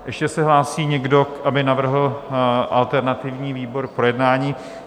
Ještě se hlásí někdo, aby navrhl alternativní výbor k projednání?